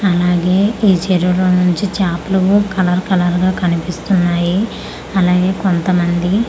అలాగే ఈ చెరువు లో నుంచి చాపలూ కలర్ కలర్ గ కనిపిస్తున్నాయి అలాగే కొంత మంది ఆ--